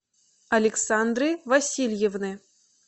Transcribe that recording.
александры васильевны